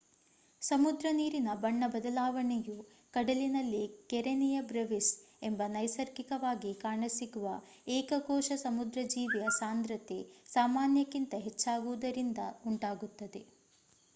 ಸಮುದ್ರ ನೀರಿನ ಬಣ್ಣ ಬದಲಾವಣೆಯು ಕಡಲಿನಲ್ಲಿ ಕೆರೆನಿಯ ಬ್ರೆವಿಸ್ ಎಂಬ ನೈಸರ್ಗಿಕವಾಗಿ ಕಾಣಸಿಗುವ ಏಕ ಕೋಶ ಸಮುದ್ರ ಜೀವಿಯ ಸಾಂದ್ರತೆ ಸಾಮಾನ್ಯಕ್ಕಿಂತ ಹೆಚ್ಚ್ಚಾಗುವುದರಿಂದ ಉಂಟಾಗುತ್ತದೆ